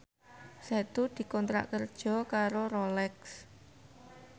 Setu dikontrak kerja karo Rolex